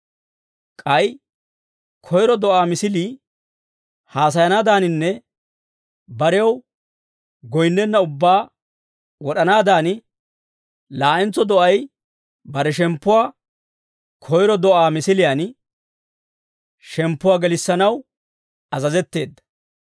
K'ay koyro do'aa misilii haasayanaadaaninne barew goyinnenna ubbaa wod'anaadan, laa'entso do'ay bare shemppuwaa koyro do'aa misiliyaan shemppuwaa gelissanaw azazetteedda.